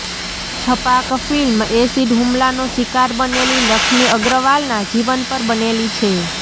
Chhapaak film acid હુમલાનો શિકાર બનેલી લક્ષ્મી અગ્રવાલના જીવન પર બનેલી છે